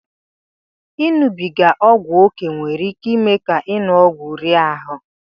Ịṅụbiga ọgwụ ókè nwere iké ime ka ịṅụ ọgwụ rie ahụ